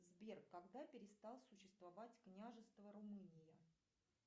сбер когда перестал существовать княжество румынии